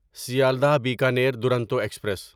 Sealdah Bikaner Duronto express